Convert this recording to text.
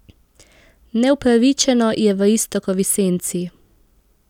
Neupravičeno je v Iztokovi senci.